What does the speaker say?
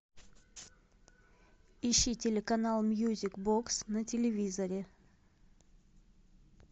ищи телеканал мьюзик бокс на телевизоре